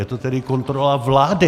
Je to tedy kontrola vlády.